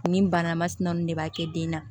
Nin bana masina ninnu de b'a kɛ den na